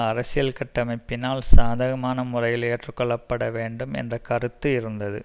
அரசியல் கட்டமைப்பினால் சாதகமான முறையில் ஏற்றுக்கொள்ளப்பட வேண்டும் என்ற கருத்து இருந்தது